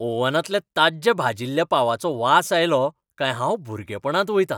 ओव्हनांतल्या ताज्ज्या भाजिल्ल्या पावाचो वास आयलो काय हांव भुरगेपणांत वयतां.